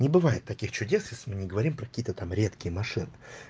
не бывает таких чудес если мы не говорим про какие-то там редкие машины